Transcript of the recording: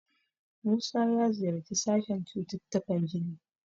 Musa ya ziyarci sashen cututtukan jini.